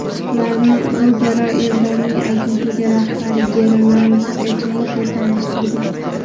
Ularni o‘zaro Eldorning agentligi rahbari German Tkachenko tanishtirgan.